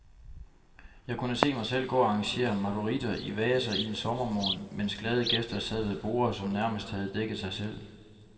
Jeg kunne se mig selv gå og arrangere marguritter i vaser en sommermorgen, mens glade gæster sad ved borde, som nærmest havde dækket sig selv.